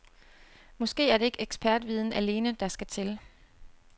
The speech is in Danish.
Måske er det ikke ekspertviden alene, der skal til.